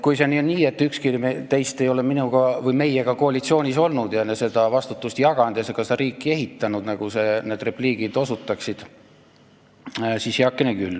Kui see on justkui nii, et ükski teist ei ole meiega koalitsioonis olnud ja vastutust jaganud ja seda riiki ehitanud, nagu need repliigid viitasid, siis heakene küll.